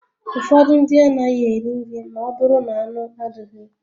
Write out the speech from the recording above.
Ụfọdụ ndị anaghị eri nri ma ọ bụrụ na-anụ adịghị